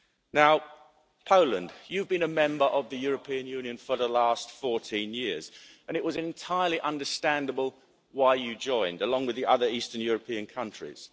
Now Poland, you've been a member of the European Union for the last 14 years and it was entirely understandable why you joined, along with the other eastern European countries.